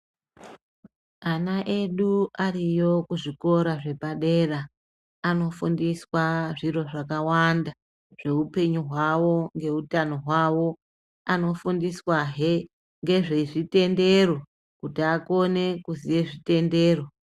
Ana edu ariyo kuzvikora zvepadera anofundiswa zviro zvakawanda zveupenyu hwavo ngeutano hwavo ,anofundiswa hee nezvezvitendero kuti akone kuziya nezvezvitendero .